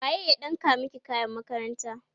waye ya ɗinka maki kayan makaranta?